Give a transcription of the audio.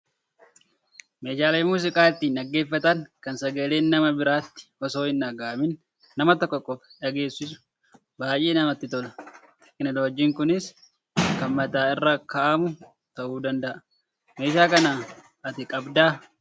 Meeshaan muuziqaa ittiin dhaggeffatan kan sagaleen nama biraatti osoo hin dhagahamiin nama tokko qofaa dhageessisu baay'ee namatti tola. Teekinooloojiin kunis kan mataa irra kaa'amu ta'uu danda'a. Meeshaa kana ati qabdaa?